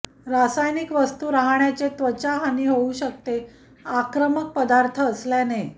रासायनिक वस्तू राहण्याचे त्वचा हानी होऊ शकते आक्रमक पदार्थ असल्याने